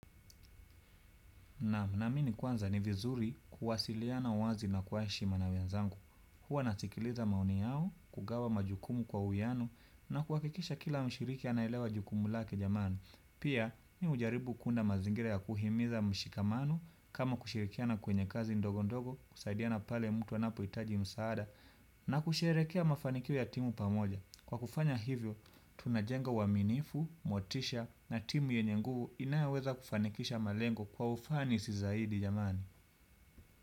Naam, naamini kwanza ni vizuri kuwasiliana wazi na kwa heshima na wenzangu. Huwa nasikiliza maoni yao, kugawa majukumu kwa uwiano, na kuhakikisha kila mshiriki anaelewa jukumu lake jamani. Pia, mimi hujaribu kuunda mazingira ya kuhimiza mshikamano, kama kushirikiana kwenye kazi ndogo ndogo, kusaidiana pale mtu anapohitaji msaada, na kusherehekea mafanikio ya timu pamoja. Kwa kufanya hivyo, tunajenga uwaminifu, motisha na timu yenye nguvu inayoweza kufanikisha malengo kwa ufanisi zaidi jamani.